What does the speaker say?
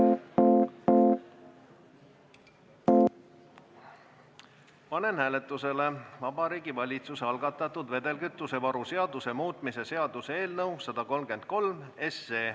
Panen hääletusele Vabariigi Valitsuse algatatud vedelkütusevaru seaduse muutmise seaduse eelnõu.